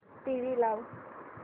TV लाव